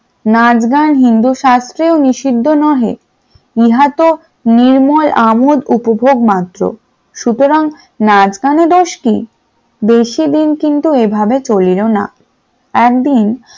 নাচ গান হিন্দু শাস্ত্রে নিষিদ্ধ নহে নিহাত তো নির্মল আমত উপভোগ মাত্র সুতরাং নাচ গানে দোষ কি বেশি দিন কিন্তু এভাবে চলল না । একদিন